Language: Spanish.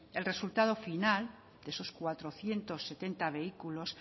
el resultado final de esos cuatrocientos setenta vehículos